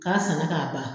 K'a sanna k'a ban